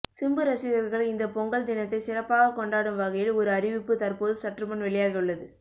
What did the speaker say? சிம்பு ரசிகர்கள் இந்தப் பொங்கல் தினத்தை சிறப்பாகக் கொண்டாடும் வகையில் ஒரு அறிவிப்பு தற்போது சற்றுமுன் வெளியாகியுள்ளது